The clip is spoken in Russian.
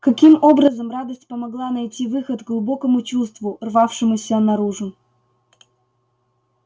каким образом радость помогла найти выход глубокому чувству рвавшемуся наружу